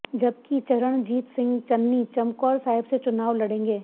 जबकि चरणजीत सिंह चन्नी चमकौर साहिब से चुनाव लडेंगे